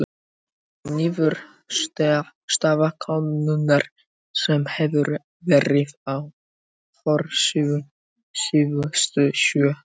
Þetta er niðurstaða könnunar sem hefur verið á forsíðunni síðustu sjö daga.